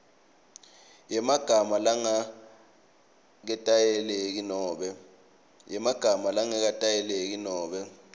yemagama langaketayeleki nobe